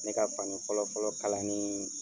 Ne ka fani fɔlɔ fɔlɔ kalani